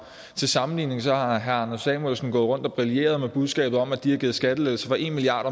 til sammenligning har herre anders samuelsen gået rundt og brilleret med budskabet om at de har givet skattelettelser for en milliard